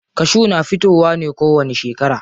Kashu na fitowa ne kowani shekara.